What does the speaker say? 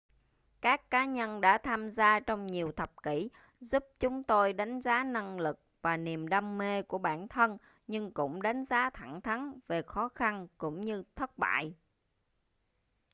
các cá nhân đã tham gia trong nhiều thập kỷ giúp chúng tôi đánh giá năng lực và niềm đam mê của bản thân nhưng cũng đánh giá thẳng thắn về khó khăn cũng như thất bại